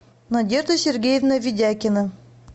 надежда сергеевна видякина